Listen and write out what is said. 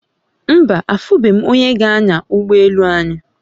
Mba, afube m onye g'anya ugbo elu anyi